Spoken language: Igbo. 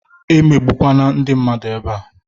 E megbukwana ndị mmadụ ebea